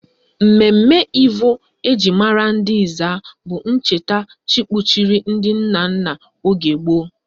Mmemme Ivo eji mara ndị Ezza bụ ncheta chi kpuchiri ndị nna nna oge gboo